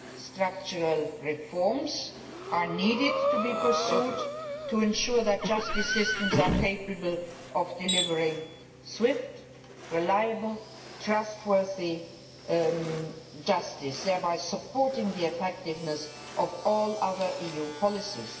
Structural reforms need to be pursued to ensure that justice systems are capable of delivering swift, reliable and trustworthy justice, thereby supporting the effectiveness of all other EU policies.